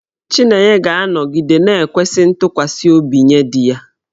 Chinenye ga-anọgide na-ekwesị ntụkwasị obi nye di ya.